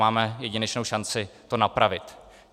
Máme jedinečnou šanci to napravit.